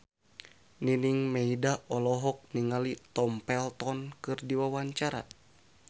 Nining Meida olohok ningali Tom Felton keur diwawancara